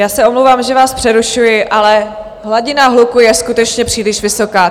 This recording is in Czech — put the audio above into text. Já se omlouvám, že vás přerušuji, ale hladina hluku je skutečně příliš vysoká.